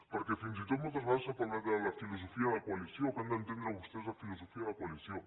perquè fins i tot moltes vegades s’ha parlat de la filosofia de coalició que han d’entendre vostès la filosofia de coalició